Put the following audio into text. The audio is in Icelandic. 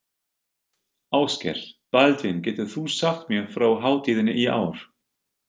Ásgeir: Baldvin, getur þú sagt mér frá hátíðinni í ár?